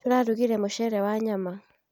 Turarugire mũcere wa nyama